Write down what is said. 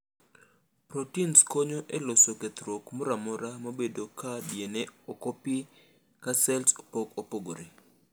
Protins konyo eloso kethruok moramora manobedo ka DNA okopi ka cells pok opogore.